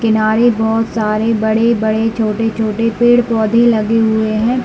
किनारे बहुत सारे बड़े-बड़े छोटे छोटे पेड़-पौधे लगे हुए है।